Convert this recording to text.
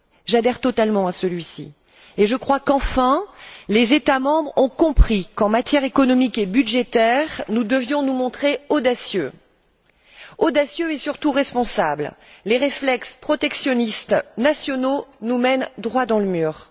J'adhère totalement à celui ci et je crois qu'enfin les États membres ont compris qu'en matière économique et budgétaire nous devions nous montrer audacieux. Audacieux et surtout responsables les réflexes protectionnistes nationaux nous mènent droit dans le mur.